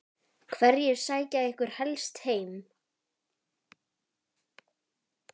Hverjir sækja ykkur helst heim?